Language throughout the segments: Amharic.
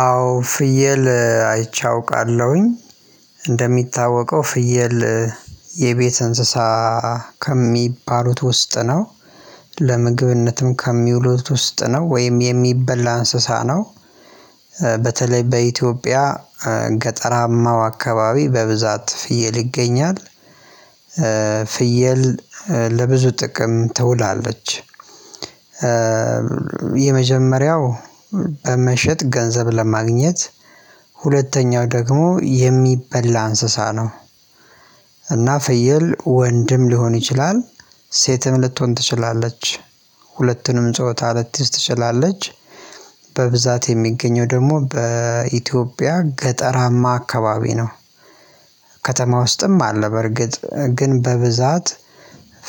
አዎ ፍየል አይቼ አውቃለሁኝ እንደሚታወቀው ፍየል የቤት እንስሳ ከሚባሉት ውስጥ ነው ለምግብነትም ከሚውሉት ውስጥ ነው ወይም የሚበላ እንስሳ ነው። በተለይ በኢትዮጵያ ገጠራማው አካባቢ በብዛት ፍየል ይገኛል። ፍየል ለብዙ ጥቅም ትውላለች። የመጀመሪያው በመሸጥ ገንዘብ ለማግኘት ሁለተኛው ደግሞ የሚበላ እንስሳ ነው። እና ፍየል ወንድም ሊሆን ይችላል ሴትም ልትሆን ትችላለች ሁለትንም ጾታ ልትይዝ ትችላለች። በብዛት የሚገኘው ደግሞ በኢትዮጵያ ገጠራማ አካባቢ ነው። ከተማ ውስጥም አለ በርግጥ ግን በብዛት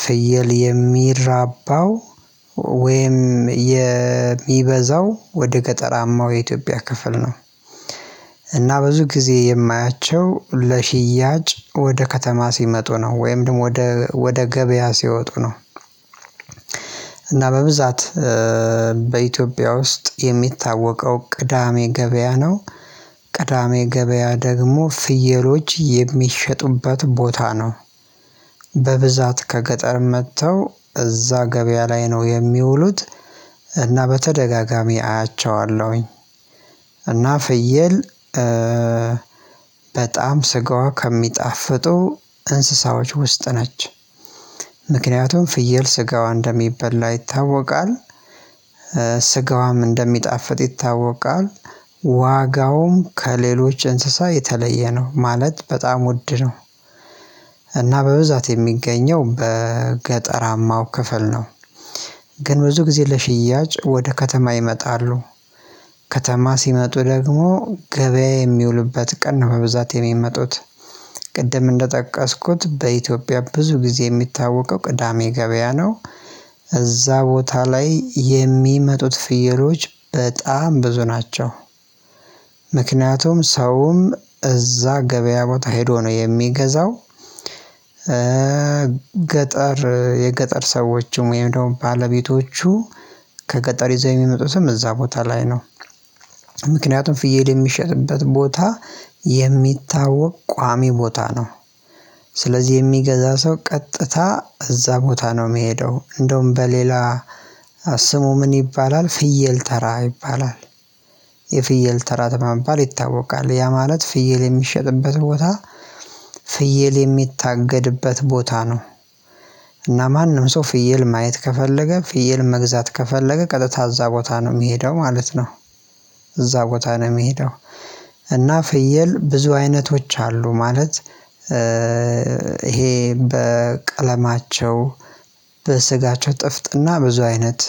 ፍየል የሚራባው ወይም የሚበዛው ወደ ገጠራማው የኢትዮጵያ ክፍል ነው። እና ብዙ ጊዜ የማያቸው ለሽያጭ ወደ ከተማ ሲመጡ ነው ወይም ደግሞ ወደ ወደ ገበያ ሲወጡ ነው። እና በብዛት በኢትዮጵያ ውስጥ የሚታወቀው ቅዳሜ ገበያ ነው። ቅዳሜ ገበያ ደግሞ ፍየሎች የሚሸጡበት ቦታ ነው። በብዛት ከገጠር መጥተው እዛ ገበያ ላይ ነው የሚውሉት እና በተደጋጋሚ አያቸዋለሁኝ። እና ፍየል በጣም ስጋዋ ከሚጣፍጡ እንስሳዎች ውስጥ ነች። ምክንያቱም ፍየል ስጋዋ እንደሚበላ ይታወቃል። ስጋዋም እንደሚጣፍጥ ይታወቃል። ዋጋውም ከሌሎች እንስሳ የተለየ ነው ማለት በጣም ውድ ነው። እና በብዛት የሚገኘው በገጠራማው ክፍል ነው። ግን ብዙ ጊዜ ለሽያጭ ወደ ከተማ ይመጣሉ። ከተማ ሲመጡ ደግሞ ገበያ የሚውልበት ቀን ነው በብዛት የሚመጡት። ቅድም እንደጠቀስኩት በኢትዮጵያ ብዙ ጊዜ የሚታወቀው ቅዳሜ ገበያ ነው። እዛ ቦታ ላይ የሚመጡት ፍየሎች በጣም ብዙ ናቸው። ምክንያቱም ሰውም እዛ ገበያ ቦታ ሄዶ ነው የሚገዛው። ገጠር የገጠር ሰዎችም ወይም ደግሞ ባለቤቶቹ ከቀጠሪ ዘይም የሚመጡትም እዛ ቦታ ላይ ነው። ምክንያቱም ፍየል የሚሸጥበት ቦታ የሚታወቅ ቋሚ ቦታ ነው። ስለዚህ የሚገዛ ሰው ቀጥታ እዛ ቦታ ነው የሚሄደው እንደውም በሌላ ስሙ ምን ይባላል ፍየል ተራ ይባላል። የፍየል ተራ ተማምባል ይታወቃል ያ ማለት ፍየል የሚሸጥበት ቦታ ፍየል የሚታገድበት ቦታ ነው። እና ማንም ሰው ፍየል ማየት ከፈለገ ፍየል መግዛት ከፈለገ ቀጥታ እዛ ቦታ ነው የሚሄደው ማለት ነው። እዛ ቦታ ነው የሚሄደው። እና ፍየል ብዙ አይነቶች አሉ ማለት ይሄ በቀለማቸው በስጋቸው ጥፍጥና ብዙ አይነት።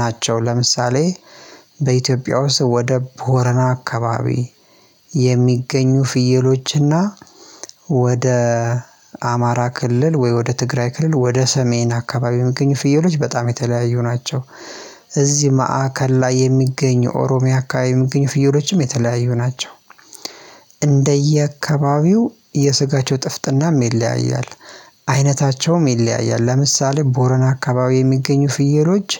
ናቸው ለምሳሌ በኢትዮጵያ ውስጥ ወደ ቦረና አካባቢ የሚገኙ ፍየሎችና ወደ አማራ ክልል ወይ ወደ ትግራይ ክልል ወደ ሰሜን አካባቢ የሚገኙ ፍየሎች በጣም የተለያዩ ናቸው። እዚህም ማዕከል ላይ የሚገኙ ኦሮሚያ አካባቢ የሚገኙ ፍዬሎችም የተለያዩ ናቸው። እንደየአካባቢው የስጋቸው ጥፍጥናም ይለያያል። አይነታቸውም ይለያያል ለምሳሌ ቦረን አካባቢ የሚገኙ ፍየሎች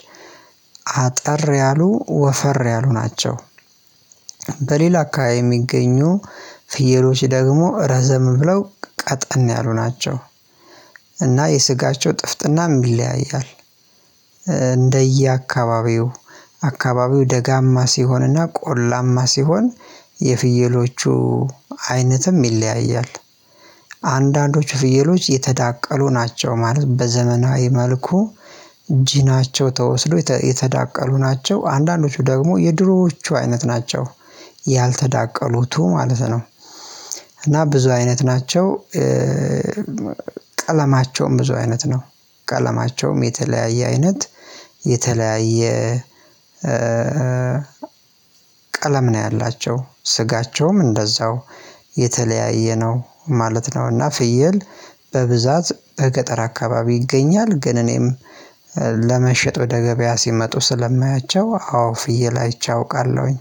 አጠር ያሉ ወፈር ያሉ ናቸው። በሌላ አካባቢ የሚገኙ ፍየሎች ደግሞ ረዘም ብለው ቀጠን ያሉ ናቸው። እና የስጋቸው ጥፍጥና የሚለያያል። እንደየአካባቢው አካባቢው ደጋማ ሲሆንና ቆላማ ሲሆን የፍየሎቹ አይነትም ይለያያል። አንዳንዶች ፍየሎች የተዳቀሉ ናቸው ማለት በዘመናዊ መልኩ ጂናቸው ተወስዶ የተዳቀሉ ናቸው አንዳንዶቹ ደግሞ የድሮዎቹ አይነት ናቸው። ያልተዳቀሉት ማለት ነው። እና ብዙ አይነት ናቸው። ቀለማቸውም ብዙ አይነት ነው። ቀለማቸውም የተለያየ አይነት የተለያየ ቀለም ነው ያላቸው ስጋቸውም እንደዛው የተለያየ ነው። ማለት ነውና ፍየል በብዛት በገጠር አካባቢ ይገኛል ግን እኔም ለመሸጥ ወደ ገበያ ሲመጡ ስለማያቸው አዎ ፍየል አይቼ አውቃለሁኝ